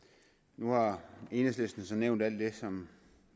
nu har enhedslisten nævnt alt det som